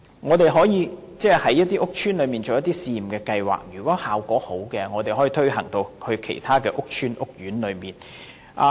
我們可以在屋邨推行一些試驗計劃，如果效果良好，便可以推展至其他屋邨或屋苑。